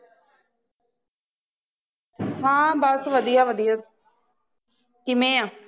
ਹਾਂ ਬਸ ਵੱਦਿਆ ਵੱਦਿਆ ਕਿਵੇਂ ਆ